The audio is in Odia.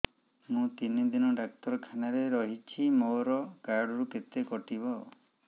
ମୁଁ ତିନି ଦିନ ଡାକ୍ତର ଖାନାରେ ରହିଛି ମୋର କାର୍ଡ ରୁ କେତେ କଟିବ